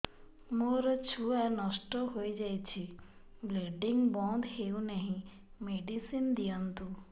ମୋର ଛୁଆ ନଷ୍ଟ ହୋଇଯାଇଛି ବ୍ଲିଡ଼ିଙ୍ଗ ବନ୍ଦ ହଉନାହିଁ ମେଡିସିନ ଦିଅନ୍ତୁ